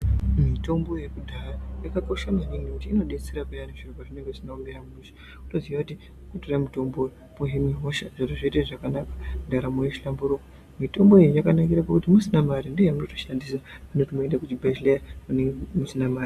Mitombo yekudhaya yakosha maningi, inodetsera pheyani zviro pazvinenge zvisina kumira mushe, wotoziya kuti kutotora mutombo uyu wohinwe hosha, zvitoite zvakanaka, mwiri yotohlambhuruka. Mitombo iyi yakanikira kuti usinyamborina mari ndiyo yaunotoshandisa pane kuti uende kuzvibhedhlera usina mari.